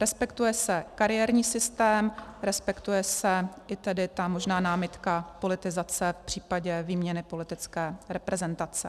Respektuje se kariérní systém, respektuje se i tedy ta možná námitka politizace v případě výměny politické reprezentace.